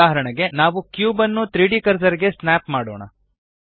ಉದಾಹರಣೆಗೆ ನಾವು ಕ್ಯೂಬ್ ನ್ನು 3ದ್ ಕರ್ಸರ್ ಗೆ ಸ್ನ್ಯಾಪ್ ಮಾಡೋಣ